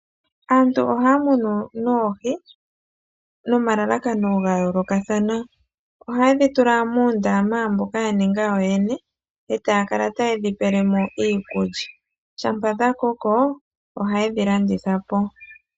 Aantu ohay munu noohi no malalakano ga yoolokathana. Oha yedhi tula muundama mboka ya ninga yo yene e taya kala ta yedhi pele mo iikulya. Shampa dha koko oha yedhi landitha po.